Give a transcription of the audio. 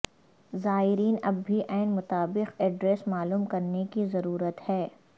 زائرین اب بھی عین مطابق ایڈریس معلوم کرنے کی ضرورت ہے